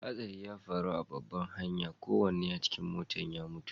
Hasari ya faru a babban hanya, kowanne a cikin motan ya mutu.